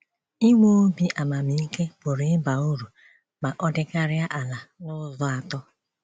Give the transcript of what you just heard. Inwe obi àmàmìke pụrụ ịba uru ma ọ dịkarịa ala n’ụ̀zọ̀ atọ.